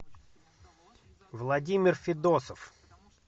владимир федосов